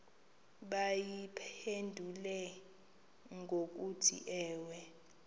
bayiphendule ngokuthi ewe